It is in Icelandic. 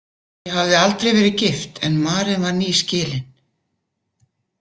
Ég hafði aldrei verið gift en Maren var nýskilin.